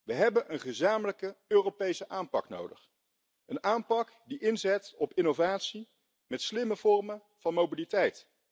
We hebben een gezamenlijke Europese aanpak nodig, een aanpak die inzet op innovatie met slimme vormen van mobiliteit.